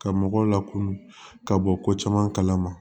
Ka mɔgɔw lakɔnɔ ka bɔ ko caman kalama